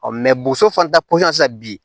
boso fana ta sisan bi